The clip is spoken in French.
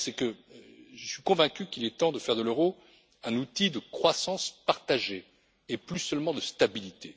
La première, c'est que je suis convaincu qu'il est temps de faire de l'euro un outil de croissance partagée et plus seulement de stabilité.